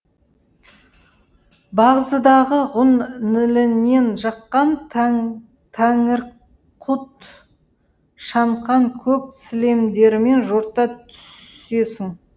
бағзыдағы ғұн нілінен жұққан тәңірқұт шаңқан көк сілемдерімен жорта түсесің